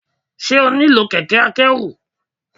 Ṣé o nílò kẹ̀kẹ́ akẹ́rù.